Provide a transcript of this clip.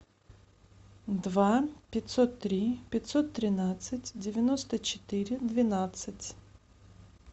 два пятьсот три пятьсот тринадцать девяносто четыре двенадцать